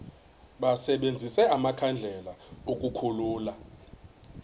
basebenzise amakhandlela ukukhulula